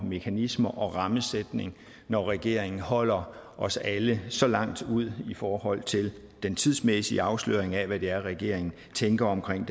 mekanismer og rammesætning når regeringen holder os alle så langt ud i forhold til den tidsmæssige afsløring af hvad det er regeringen tænker omkring